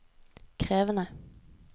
krevende